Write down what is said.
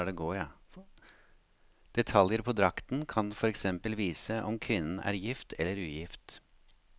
Detaljer på drakten kan for eksempel vise om kvinnen er gift eller ugift.